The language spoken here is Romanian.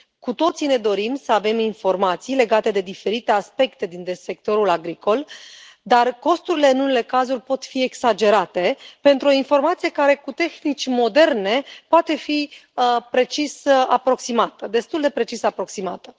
Cu toții ne dorim să avem informații legate de diferite aspecte din sectorul agricol, dar costurile, în unele cazuri, pot fi exagerate pentru o informație care, cu tehnici moderne, poate fi destul de precis aproximată.